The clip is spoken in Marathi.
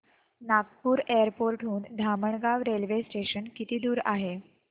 नागपूर एअरपोर्ट हून धामणगाव रेल्वे स्टेशन किती दूर आहे